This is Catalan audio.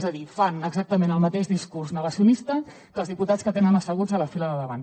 és a dir fan exactament el mateix discurs negacionista que els diputats que tenen asseguts a la fila de davant